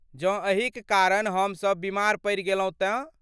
जँ एहिक कारण हमसब बीमार पड़ि गेलहुँ तँ?